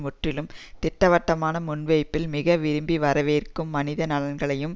முற்றிலும் திட்டவட்டமான முன்வைப்பில் மிக விரும்பி வரவேற்கும் மனித நலன்களையும்